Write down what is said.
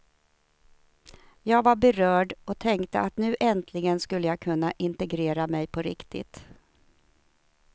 Jag var berörd och tänkte att nu äntligen skulle jag kunna integrera mig på riktigt.